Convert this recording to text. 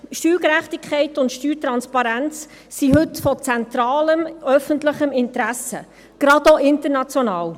Steuergerechtigkeit und Steuertransparenz sind heute von zentralem öffentlichem Interesse, gerade auch international.